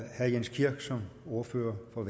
herre jens kirk som ordfører for